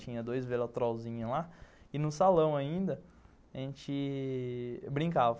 Tinha dois velatrolzinhos lá e no salão ainda a gente brincava.